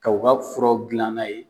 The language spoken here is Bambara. Kaw ka furaw dilan na ye.